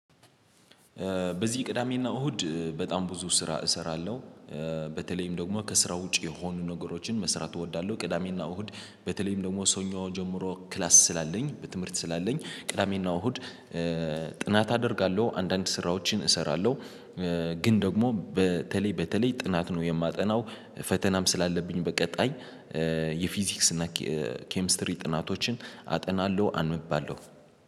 በዚህ ቅዳሜና እሁድ በጣም ብዙ ስራ እሰራለሁ። በተለይም ደግሞ ከስራ ውጪ የሆኑ ነገሮችን መስራት እወዳለሁ። ቅዳሜና እሁድ በተለይም ደግሞ ሰኞ ጀምሮ ክላስ ስላለኝ በትምህርት ስላለኝ ቅዳሜና እሁድ። ጥናት አደርጋለሁ አንዳንድ ስራዎችን እሰራለሁ። ግን ደግሞ በተለይ በተለይ ጥናት ነው የማጠናው። ፈተናም ስላለብኝ በቀጣይ የፊዚክስ እና ኬሚስትሪ ጥናቶችን አጠናለሁ አንባለሁ